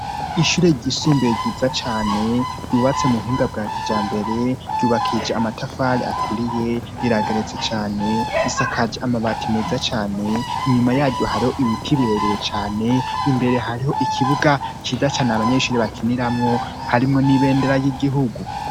Ishure ryisumbue ryiza cane ryubatse mu buhinga bwacu ja mbere ryubakije amatafale aturiye irageretse cane isakaje amabati meza cane inyuma yayu hariho ibiti birebeye cane imbere hariho ikibuga ciza cane abanyeshuri bakiniramwo harimwo n'ibendera y'igihugu.